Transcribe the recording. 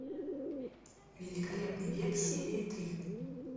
великолепный век серия три